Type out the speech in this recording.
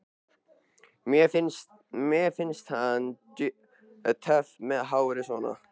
Mér finnst hann töff með hárið svona!